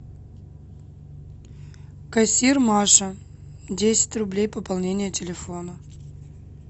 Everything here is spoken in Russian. кассир маша десять рублей пополнение телефона